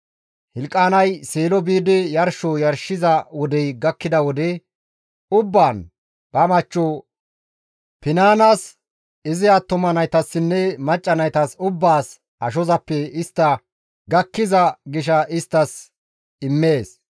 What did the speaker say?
Hilqaanay Seelo biidi yarsho yarshiza wodey gakkida wode ubbaan ba machcho Finaanas, izi attuma naytassinne macca naytas ubbaas ashozappe istta gakkiza gisha isttas immees.